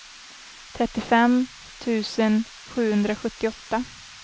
trettiofem tusen sjuhundrasjuttioåtta